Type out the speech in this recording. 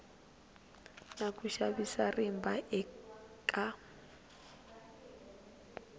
na ku xavisa rimba eka